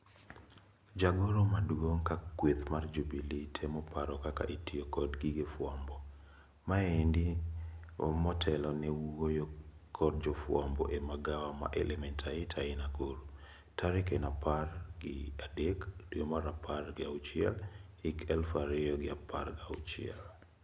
Jagoro maduong ka kweth mar Jubillee temo paro kaka itio kod gige fwambo. Maendi motelo ne wuoyo kod jofwambo e magawa ma Elementaita ei Nakuru. Tarik en apar gi adek dwe mar apar gi achiel hik eluf ario gi apar gi auchiel.